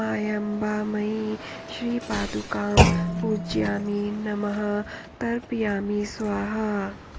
मायाम्बामयी श्रीपादुकां पूजयामि नमः तर्पयामि स्वाहा